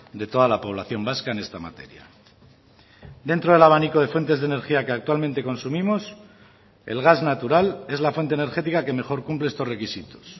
de toda la población vasca en esta materia dentro del abanico de fuentes de energía que actualmente consumimos el gas natural es la fuente energética que mejor cumple estos requisitos